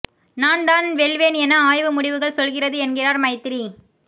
நான் தான் வெல்வேன் என ஆய்வு முடிவுகள் சொல்கிறது என்கிறார் மைத்திரி